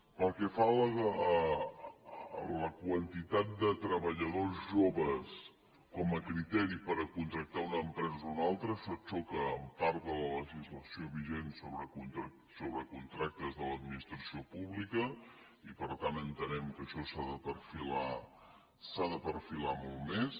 pel que fa a la quantitat de treballadors joves com a criteri per contractar una empresa o una altra això xoca amb part de la legislació vigent sobre contractes de l’administració pública i per tant entenem que això s’ha de perfilar molt més